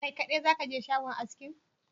Kai kaɗai zakaje shagon askin?